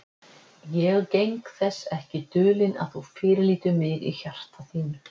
Ég geng þess ekki dulinn, að þú fyrirlítur mig í hjarta þínu.